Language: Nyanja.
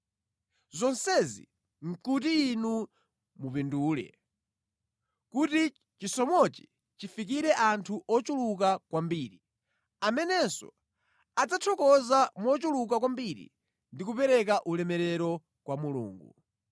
Zonsezi nʼkuti inu mupindule, kuti chisomochi chifikire anthu ochuluka kwambiri, amenenso adzathokoza mochuluka kwambiri ndi kupereka ulemerero kwa Mulungu.